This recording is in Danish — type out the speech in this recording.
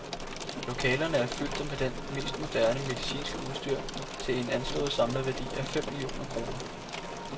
Lokalerne er fyldte med det mest moderne medicinske udstyr til en anslået samlet værdi af fem millioner kroner.